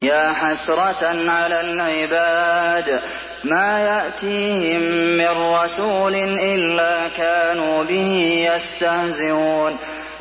يَا حَسْرَةً عَلَى الْعِبَادِ ۚ مَا يَأْتِيهِم مِّن رَّسُولٍ إِلَّا كَانُوا بِهِ يَسْتَهْزِئُونَ